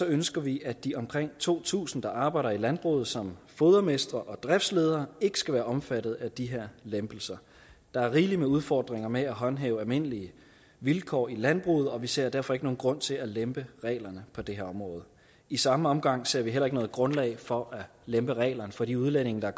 ønsker vi at de omkring to tusind der arbejder i landbruget som fodermestre og driftsledere ikke skal være omfattet af de her lempelser der er rigelig med udfordringer med at håndhæve almindelige vilkår i landbruget og vi ser derfor ikke nogen grund til at lempe reglerne på det her område i samme omgang ser vi heller ikke noget grundlag for at lempe reglerne for de udlændinge der